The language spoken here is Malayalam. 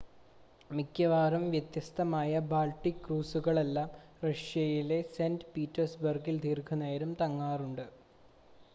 മിക്കവാറും വ്യത്യസ്തമായ ബാൾട്ടിക് ക്രൂസുകളെല്ലാം റഷ്യയിലെ സെൻ്റ് പീറ്റേഴ്സ്ബർഗിൽ ദീർഘനേരം തങ്ങാറുണ്ട്